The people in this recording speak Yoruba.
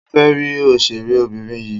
Mo fẹ́ rí òṣèré obìnrin yìí.